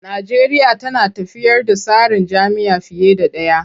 Najeriya tana tafiyar da tsarin jam'iyya fiye da ɗaya.